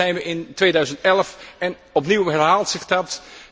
Nu zijn we in 2011 en opnieuw herhaalt zich dat.